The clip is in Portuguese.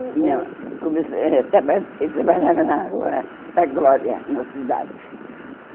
Ou ou Não começou eh trabalha Ele trabalhava na rua da Glória, na cidade.